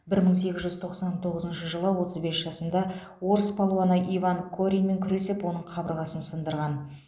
бір мың сегіз жүз тоқсан тоғызыншы жылы отыз бес жасында орыс палуаны иван кореньмен күресіп оның қабырғасын сындырған